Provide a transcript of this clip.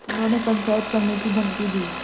उन्होंने पंचायत करने की धमकी दी